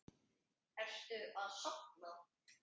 Ertu að safna?